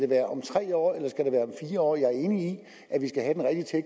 være om tre år eller fire år jeg er enig